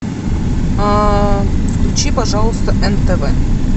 включи пожалуйста нтв